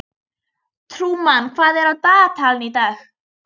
Trúmann, hvað er á dagatalinu í dag?